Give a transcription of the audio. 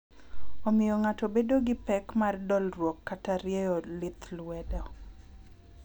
Omiyo ng'ato edo gi pek mar dolruok kata rieyo lith luedo.